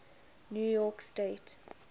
new york state